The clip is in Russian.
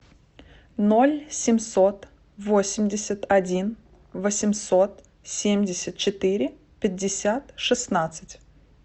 ноль семьсот восемьдесят один восемьсот семьдесят четыре пятьдесят шестнадцать